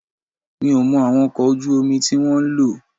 Mi ò mọ àwọn ọkọ̀ ojú omi tí wọ́n ń lò